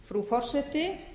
frú forseti